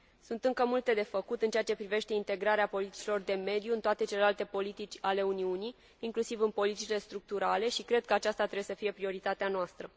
Sunt încă multe de făcut în ceea ce privește integrarea politicilor de mediu în toate celelalte politici ale Uniunii, inclusiv în politicile structurale și cred că aceasta trebuie să fie prioritatea noastră.